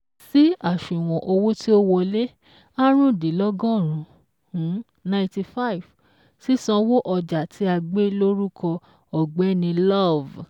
Sí àṣùwọ̀n owó tí ò wọlé áàrúndínlọ́gọ́rùn-ún um ninety five sísanwó ọjà tí a gbé lórúkọ Ọ̀gbẹ́ni Love